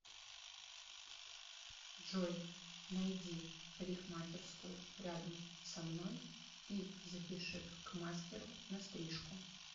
джой найди парикмахерскую рядом со мной и запиши к мастеру на стрижку